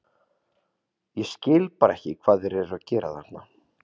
Ég skil bara ekki hvað þeir eru að gera þarna?